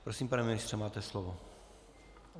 Prosím, pane ministře, máte slovo.